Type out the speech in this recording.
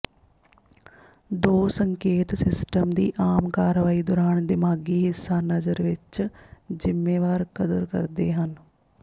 ਦੋ ਸੰਕੇਤ ਸਿਸਟਮ ਦੀ ਆਮ ਕਾਰਵਾਈ ਦੌਰਾਨ ਿਦਮਾਗ਼ੀ ਹਿੱਸਾ ਨਜਰ ਵਿਚ ਜ਼ਿੰਮੇਵਾਰ ਕਦਰ ਕਰਦੇ ਹਨ